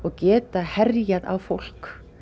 geta herjað á fólk